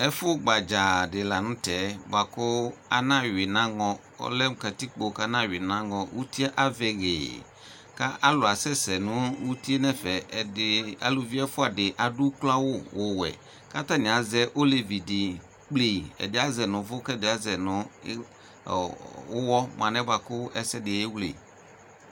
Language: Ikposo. Ɛfu gbadzadi kʋ anawui nʋ anŋɔ uti avɛ hee kʋ alʋ asɛsɛ nʋ ʋtie nʋ ɛfɛ kʋ akuvi efuadi adʋ ʋkloawʋ wuwɛ kʋ atani azɛ olevidi kple ɛdi azɛ nʋ ʋvʋ kʋ ɛdɩ azɛ nʋ ʋwɔ mu alɛnɛ ɛsɛdi ewle